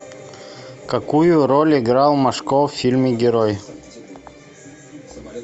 какую роль играл машков в фильме герой